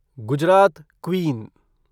Gujarat queen